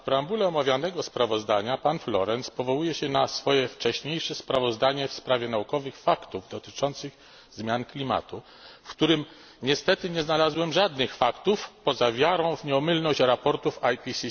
W preambule omawianego sprawozdania pan Florenz powołuje się na swoje wcześniejsze sprawozdanie w sprawie naukowych faktów dotyczących zmian klimatu, w którym niestety nie znalazłem żadnych faktów poza wiarą w nieomylność sprawozdań IPCC.